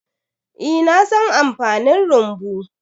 Eh, na san amfanin rumbu.